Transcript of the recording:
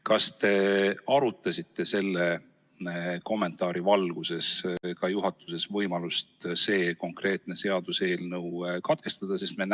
" Kas te arutasite selle kommentaari valguses juhatuses ka võimalust see konkreetne seaduseelnõu katkestada?